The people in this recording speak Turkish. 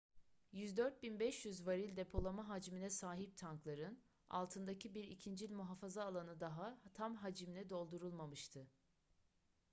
104.500 varil depolama hacmine sahip tankların altındaki bir ikincil muhafaza alanı daha tam hacimle doldurulmamıştı